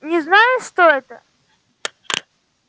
не знаю что это